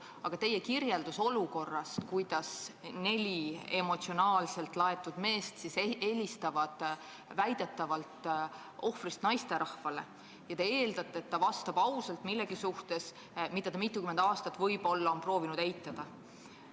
Aga teie kirjeldus oli, et neli emotsionaalselt laetud meest helistasid väidetavalt ohvrist naisterahvale ja te eeldasite, et ta vastab ausalt millegi kohta, mida ta mitukümmend aastat oli võib-olla proovinud eitada.